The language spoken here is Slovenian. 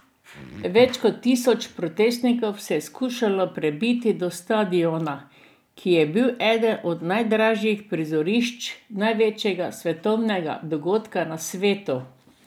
Več kot tisoč protestnikov se je skušalo prebiti do stadiona, ki je bil eden od najdražjih prizorišč največjega svetovnega dogodka na svetu.